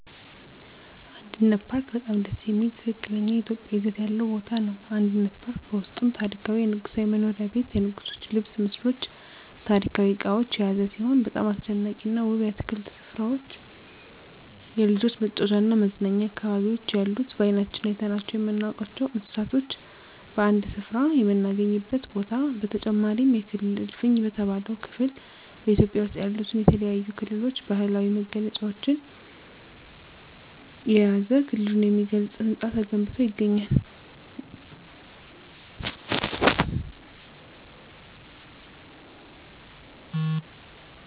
አንድነት ፓርክ በጣም ደስ የሚል ትክክለኛ ኢትዮጵያዊ ይዘት ያለው ቦታ ነው። አንድነት ፓርክ በውስጡም ታሪካዊ የንጉሣዊ መኖሪያ ቤት የንጉሥች ልብስ ምስሎች ታሪካዊ እቃዎች የያዘ ሲሆን በጣም አስደናቂና ውብ የአትክልት ስፍራዎች የልጆች መጫወቻና መዝናኛ አካባቢዎች ያሉት በአይናችን አይተናቸው የማናውቃቸውን እንስሳቶች በአንድ ስፍራ የምናገኝበት ቦታ በተጨማሪም የክልል እልፍኝ በተባለው ክፍል በኢትዮጵያ ውስጥ ያሉትን የተለያዩ ክልሎች ባህላዊ መገለጫዎችን የያዘ ክልሉን የሚገልጽ ህንፃ ተገንብቶ ይገኛል።